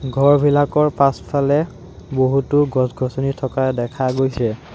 ঘৰবিলাকৰ পাছফালে বহুতো গছ-গছনি থকা দেখা গৈছে।